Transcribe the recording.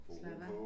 Slappe af